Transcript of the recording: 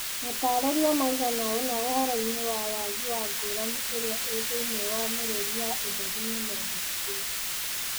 Matarĩria maigana ũna ũhoroi-nĩ wa wagi wa ngũrani ĩrĩa ĩ thĩiniĩ wa mĩrũri ya ũtheri nĩmendĩkithĩtio .